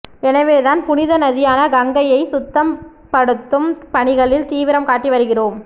எனவே தான் புனித நதியான கங்கையை சுத்தம் படுத்தும் பணிகளில் தீவிரம் காட்டி வருகிறோம்